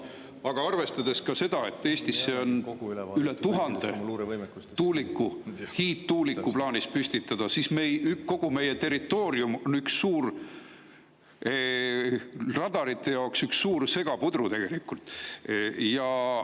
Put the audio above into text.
Aga arvestades seda, et Eestisse on plaanis üle 1000 hiidtuuliku püstitada, on kogu meie territoorium radarite seisukohalt üks suur segapudru tegelikult.